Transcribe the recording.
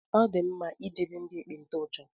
Ọ dị mma idebe ndị ekpenta iche